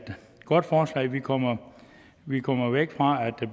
godt forslag vi kommer vi kommer væk fra at der